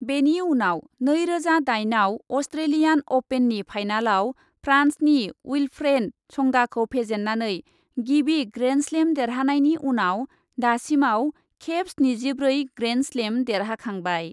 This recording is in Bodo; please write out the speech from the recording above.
बेनि उनाव नैरोजा दाइनआव अस्ट्रेलियान अपेननि फाइनालाव फ्रान्सनि उइल्फ्रेड संगाखौ फेजेन्नानै गिबि ग्रेन्डस्लेम देरहानायनि उनाव दासिमाव खेब स्निजिब्रै ग्रेन्डस्लेम देरहाखांबाय।